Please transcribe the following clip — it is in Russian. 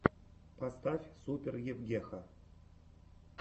поставь супер евгеха